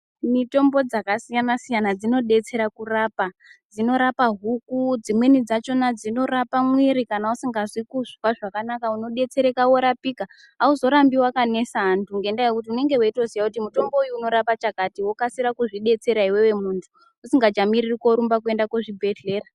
Mitombo dzakasiyana-siyana dzinodetsera kurapa, dzinorapa huku ,dzimweni dzachona dzinorapa muviri kana usikazwi kuzwa zvakanaka ,unodetsereka worapika awuzorambi wakanesa antu, ngendaa yekuti unenge weyitoziva kuti mutombo uyu unorapa chakati, wokasira kuzvidetsera iwewe muntu usikachamiriri kurumba kuenda kuzvibhedhlera.